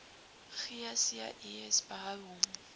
gcis behou hom